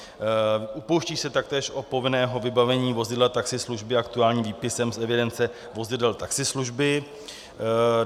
Upouští se taktéž od povinného vybavení vozidla taxislužby aktuálním výpisem z evidence vozidel taxislužby.